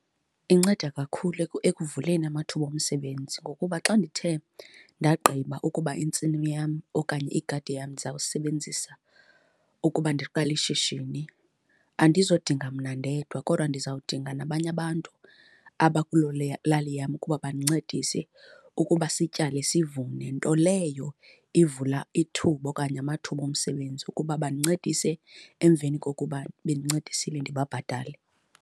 Inceda kakhulu ekuvuleni amathuba omsebenzi. Ngokuba xa ndithe ndagqiba ukuba intsimi yam okanye igadi yam ndizawusebenzisa ukuba ndiqale ishishini, andizudinga mna ndedwa kodwa ndizawudinga nabanye abantu abakulo lali yam ukuba bandincedise ukuba sityale, sivune. Nto leyo ivula ithuba okanye amathuba omsebenzi ukuba bandincedise, emveni kokuba bendincedisile ndibabhatale.